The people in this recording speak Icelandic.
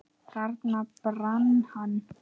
Þarna brann hann.